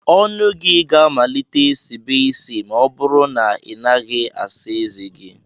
Ọnụ gị ga-amalite sibe isi ma ọ bụrụ na ị naghị asa ezé gị